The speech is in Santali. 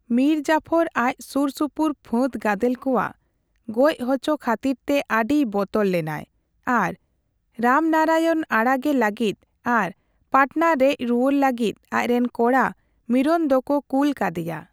ᱢᱤᱨ ᱡᱟᱯᱷᱚᱨ ᱟᱡ ᱥᱩᱨ ᱥᱩᱯᱩᱨ ᱯᱷᱟᱹᱫ ᱜᱟᱫᱮᱞ ᱠᱚᱣᱟᱜ ᱜᱚᱡ ᱦᱚᱪᱚ ᱠᱷᱟᱹᱛᱤᱨᱛᱮ ᱟᱹᱰᱤᱭ ᱵᱚᱛᱚᱨ ᱞᱮᱱᱟᱭ ᱟᱨ ᱨᱟᱢᱱᱟᱨᱟᱭᱚᱱ ᱟᱲᱟᱜᱮ ᱞᱟᱹᱜᱤᱫ ᱟᱨ ᱯᱟᱴᱱᱟ ᱨᱮᱡᱨᱩᱣᱟᱹᱲ ᱞᱟᱹᱜᱤᱫ ᱟᱡᱨᱮᱱ ᱠᱚᱲᱟ ᱢᱤᱨᱚᱱ ᱫᱚ ᱠᱚ ᱠᱩᱞ ᱠᱟᱫᱮᱭᱟ᱾